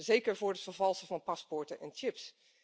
gestraft, zeker voor het vervalsen van paspoorten en